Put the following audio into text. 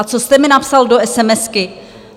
A co jste mi napsal do esemesky?